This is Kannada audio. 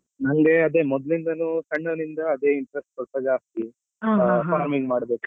ನಂಗೆ ಅದೇ ಮೊದಲಿಂದನೂ ಸಣ್ಣವ್ನಿಂದ ಅದೇ interest ಸ್ವಲ್ಪ ಜಾಸ್ತಿ farming ಮಾಡ್ಬೇಕು.